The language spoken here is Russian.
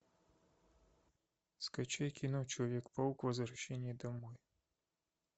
скачай кино человек паук возвращение домой